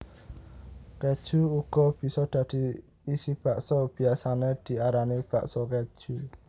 Kéju uga bisa dadi isi bakso biyasané diarani bakso kéju